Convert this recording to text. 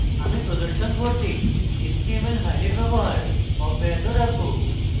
আমি প্রদর্শন করতে html files ব্যবহার অব্যাহত রাখবো